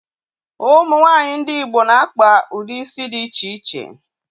Ụmụ nwaanyị ndị Igbo na-akpa ụdị isi dị iche iche